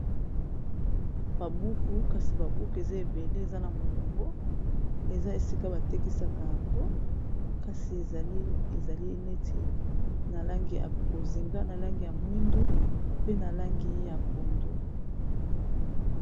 Ba buku kasi ba buku eza ebele eza na molongo eza esika batekisaka yango kasi ezali neti na langi ya bozinga na langi ya mwindu pe na langi ya pondu.